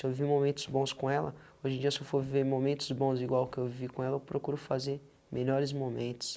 Eu vivi momentos bons com ela, hoje em dia, se eu for viver momentos bons igual que eu vi com ela, eu procuro fazer melhores momentos.